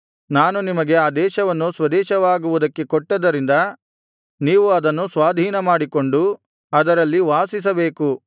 ನಾನು ನಿಮಗೆ ಆ ದೇಶವನ್ನು ಸ್ವದೇಶವಾಗುವುದಕ್ಕೆ ಕೊಟ್ಟದರಿಂದ ನೀವು ಅದನ್ನು ಸ್ವಾಧೀನಮಾಡಿಕೊಂಡು ಅದರಲ್ಲಿ ವಾಸಿಸಬೇಕು